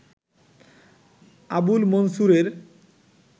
Abul মনসুরের